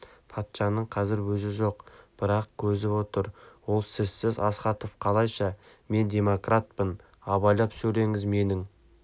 патшаның қазір өзі жоқ бірақ көзі отыр ол сізсіз астахов қалайша мен демократпын абайлап сөйлеңіз менің